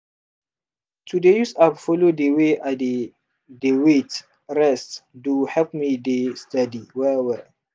to dey use app follow dey way i dey dey wait rest do help me dey steady well well.